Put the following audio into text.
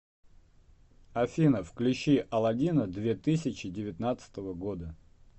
афина включи аладдина две тысячи девятнадцатого года